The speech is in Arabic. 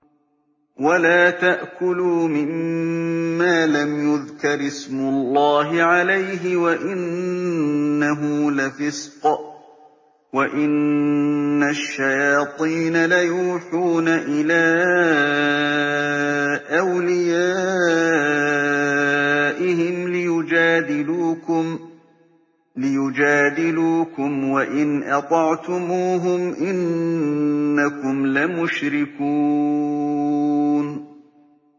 وَلَا تَأْكُلُوا مِمَّا لَمْ يُذْكَرِ اسْمُ اللَّهِ عَلَيْهِ وَإِنَّهُ لَفِسْقٌ ۗ وَإِنَّ الشَّيَاطِينَ لَيُوحُونَ إِلَىٰ أَوْلِيَائِهِمْ لِيُجَادِلُوكُمْ ۖ وَإِنْ أَطَعْتُمُوهُمْ إِنَّكُمْ لَمُشْرِكُونَ